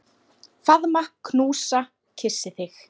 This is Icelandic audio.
Faðma, knúsa, kyssi þig.